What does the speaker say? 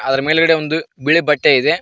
ಅದರ ಮೇಲ್ಗಡೆ ಒಂದು ಬಿಳಿ ಬಟ್ಟೆ ಇದೆ.